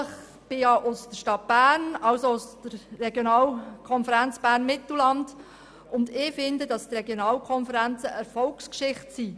Ich selber komme aus der Stadt Bern, also aus der Regionalkonferenz Bern-Mittelland, und finde, dass die Regionalkonferenzen eine Erfolgsgeschichte sind.